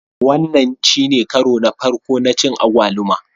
Wannan shine karo na farko na cin agwaluma